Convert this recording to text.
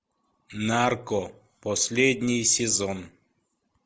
нарко последний сезон